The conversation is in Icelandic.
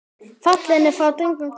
Fallinn er frá drengur góður.